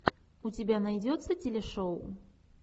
у тебя найдется телешоу